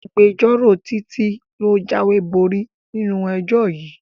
Agbẹjọ́rò Títí ló jáwéborí nínú ẹjọ́ yìí